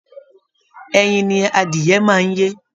Ẹyin ni adìẹ máa ń yé